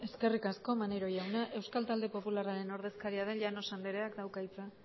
eskerrik asko maneiro jauna euskal talde popularraren ordezkaria den llanos andrea dauka hitza